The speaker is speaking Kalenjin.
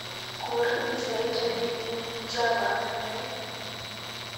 Guur pisait oli eng chava gaigai